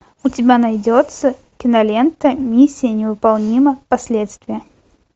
у тебя найдется кинолента миссия невыполнима последствия